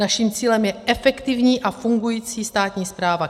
Naším cílem je efektivní a fungující státní správa.